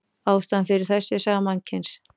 Ástæðan fyrir þessu er saga mannkyns.